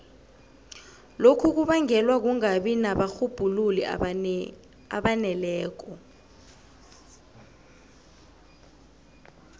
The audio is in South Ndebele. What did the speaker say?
lokhu kubangelwa kungabi nabarhubhululi abaneleko